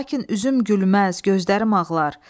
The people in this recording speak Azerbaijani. Lakin üzüm gülməz, gözlərim ağlar.